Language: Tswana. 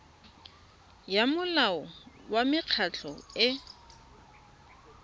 ya molao wa mekgatlho e